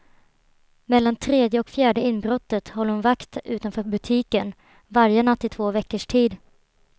Mellan tredje och fjärde inbrottet höll hon vakt utanför butiken, varje natt i två veckors tid.